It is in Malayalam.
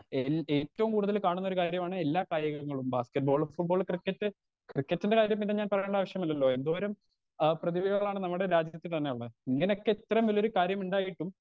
സ്പീക്കർ 2 എൽ ഏറ്റോം കൂടുതൽ കാണുന്നൊരു കാര്യാണ് എല്ലാ കായികങ്ങളും ബാസ്കറ്റ്ബാൾ ഫുട്ബോൾ ക്രിക്കറ്റ് ക്രിക്കറ്റിന്റെ കാര്യം ഞാൻ പിന്നെ പറയേണ്ട ആവശ്യമില്ലല്ലോ എന്തോരം ആ പ്രതിഭകളാണ് നമ്മടെ രാജ്യത്ത് തന്നെ ഉള്ളെ ഇങ്ങനൊക്കെ ഇത്രേം വല്ല്യ കാര്യം ഇണ്ടായിട്ടും.